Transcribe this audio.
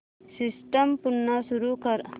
system पुन्हा सुरू कर